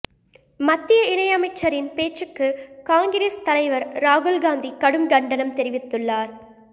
மத்திய இணையமைச்சரின் பேச்சுக்கு காங்கிரஸ் தலைவர் ராகுல் காந்தி கடும் கண்டனம் தெரிவித்துள்ளார்